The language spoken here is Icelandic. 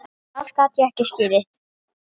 Það gat ég ekki skilið.